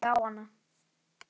Agndofa stari ég á hana.